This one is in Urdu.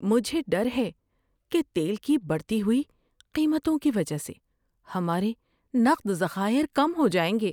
مجھے ڈر ہے کہ تیل کی بڑھی ہوئی قیمتوں کی وجہ سے ہمارے نقد ذخائر کم ہو جائیں گے۔